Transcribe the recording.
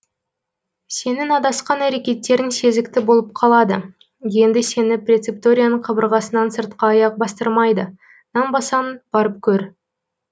сенің адасқан әрекеттерің сезікті болып қалады енді сені преципторияның қабырғасынан сыртқа аяқ бастырмайды нанбасаң барып көр